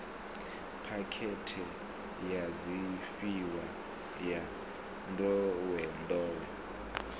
phakhethe ya zwifhiwa ya nḓowenḓowe